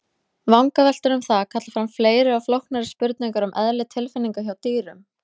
Vangaveltur um það kalla fram fleiri og flóknari spurningar um eðli tilfinninga hjá dýrum.